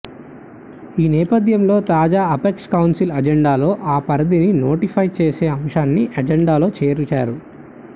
ఈ నేపథ్యంలో తాజా అపెక్స్ కౌన్సిల్ ఎజెండాలో ఆ పరిధిని నోటిఫై చేసే అంశాన్ని ఎజెండాలో చేర్చారు